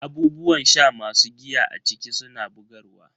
Abubuwan sha masu giya a ciki suna bugarwa.